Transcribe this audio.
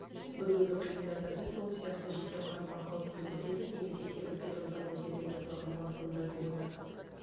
бұзуды қиындатады сол сияқты жеке құрамға қауіп төндіреді немесе темірбетон панельдерден жасалған плафондарды орнатады